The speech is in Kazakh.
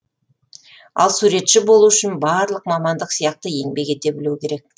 ал суретші болу үшін барлық мамандық сияқты еңбек ете білу керек